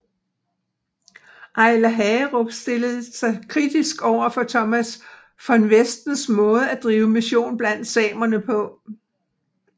Eiler Hagerup stilte sig kritisk overfor Thomas von Westens måde at drive mission blandt samerne på